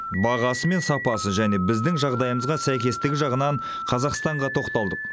бағасы мен сапасы және біздің жағдайымызға сәйкестігі жағынан қазақстанға тоқталдық